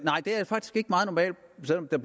at